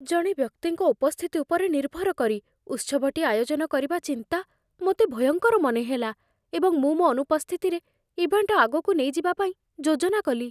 ଜଣେ ବ୍ୟକ୍ତିଙ୍କ ଉପସ୍ଥିତି ଉପରେ ନିର୍ଭର କରି ଉତ୍ସବଟି ଆୟୋଜନ କରିବା ଚିନ୍ତା ମୋତେ ଭୟଙ୍କର ମନେହେଲା, ଏବଂ ମୁଁ ମୋ ଅନୁପସ୍ଥିତିରେ ଇଭେଣ୍ଟ ଆଗକୁ ନେଇଯିବା ପାଇଁ ଯୋଜନା କଲି।